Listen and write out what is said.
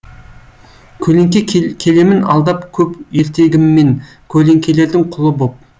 көлеңке келемін алдап көп ертегіммен көлеңкелердің құлы боп